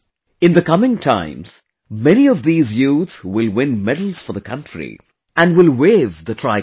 In the coming times, many of these youth will win medals for the country, and will hoist the tricolor